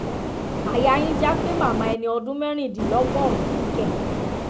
àyà yín já pé màmá ẹni ọdún mẹ́rìndínlọ́gọ́rùn-ún kù kẹ̀